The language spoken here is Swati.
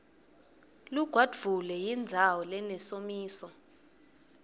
lugwadvule yindzawo lenesomiso